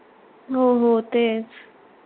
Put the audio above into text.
हो हो तेच